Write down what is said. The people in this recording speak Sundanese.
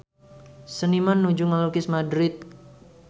Seniman nuju ngalukis Madrid